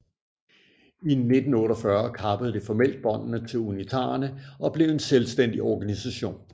I 1948 kappede det formelt båndene til unitarerne og blev en selvstændig organisation